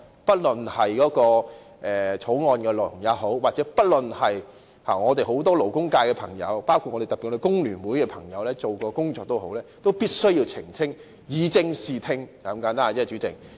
不論是法案的內容，或是很多勞工界朋友——特別是工聯會的朋友——曾進行的工作，我們都必須澄清，以正視聽，就是如此簡單。